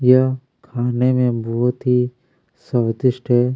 यह खाने में बहुत ही स्वादिष्ट हैं।